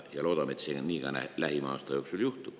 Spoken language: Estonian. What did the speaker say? Loodame, et see lähima aasta jooksul nii ka juhtub.